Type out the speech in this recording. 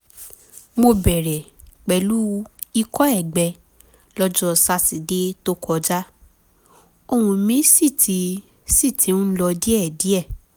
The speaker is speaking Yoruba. mo bẹ̀rẹ̀ pẹ̀lú ikọ́ ẹ̀gbẹ lọ́jọ́ sátidé tó kọjá ohùn mi sì ti sì ti ń lọ díẹ̀díẹ̀